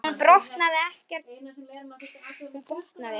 Hún botnaði ekkert í þessu.